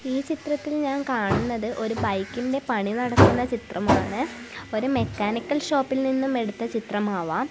ഈ ചിത്രത്തിൽ ഞാൻ കാണുന്നത് ഒരു ബൈക്കിന്റെ പണി നടക്കുന്ന ചിത്രമാണ് ഒരു മെക്കാനിക്കൽ ഷോപ്പിൽ നിന്നും എടുത്ത് ചിത്രമാവാം.